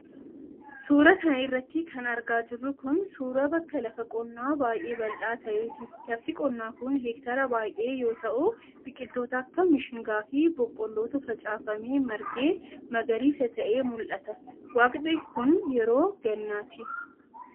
Suura kana irratti kan argaa jirru kun, suura bakka lafa qonnaa baay'ee bal'aa taheeti. Lafti qonnaa kun, heektaara baay'ee yoo ta'u, biqiloota akka mishingaa fi boqqoollotu facaafamee margee magariisa ta'e mul'ata. Waqtiin kun, yeroo gannaati.